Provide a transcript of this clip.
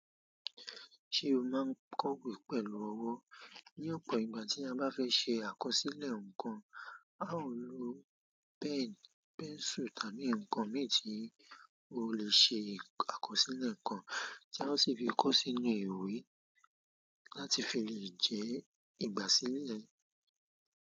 Ṣé o máa ń kọ ìwé pẹ̀lú ọwọ́? Ní ọ̀pọ̀ ìgbà tí a bá fẹ́ ṣe àkọsílẹ̀ nǹkan, a ó lo pen, pencil tàbí ǹkan min ti o lè ṣe àkọsílẹ̀ ǹkan tí a o sì fi kọ sí inú ìwé láti fi lè jẹ ìgbà sílẹ̀.